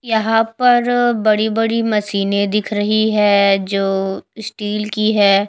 यहां पर बड़ी बड़ी मशीनें दिख रही हैं जो स्टील की हैं।